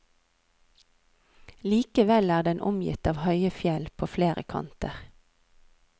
Likevel er den omgitt av høye fjell på flere kanter.